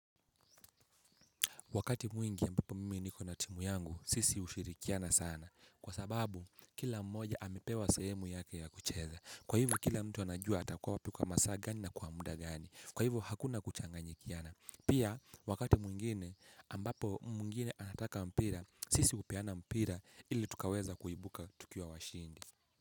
Wakati mwingi ambapo mimi niko na timu yangu sisi ushirikiana sana. Kwa sababu kila mmoja amepewa sehemu yake ya kucheza. Kwa hivyo kila mtu anajua atakua wapi kwa masaa gani na kwa muda gani. Kwa hivyo hakuna kuchanganyikiana. Pia, wakati mwingine ambapo mwingine anataka mpira sisi upeana mpira ili tukaweza kuibuka tukiwa washindi.